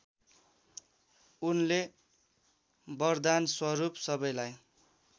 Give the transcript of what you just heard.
उनले वरदानस्वरूप सबैलाई